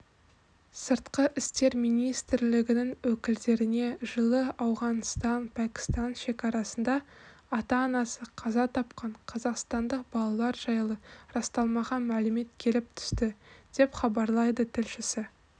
сыртқы істер министрлігінің өкілдеріне жылы ауғанітан-пәкістан шекарасында ата-анасы қаза тапқан қазақстандық балалар жайлы расталмаған мәлімет келіп түсті деп хабарлайды тілшісі